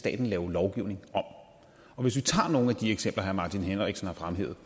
staten lave lovgivning om hvis vi tager nogle af de eksempler herre martin henriksen har fremhævet